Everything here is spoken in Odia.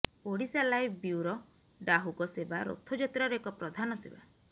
ଓଡ଼ିଶାଲାଇଭ୍ ବ୍ୟୁରୋ ଡାହୁକ ସେବା ରଥଯାତ୍ରାର ଏକ ପ୍ରଧାନ ସେବା